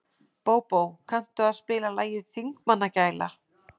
Bóbó, kanntu að spila lagið „Þingmannagæla“?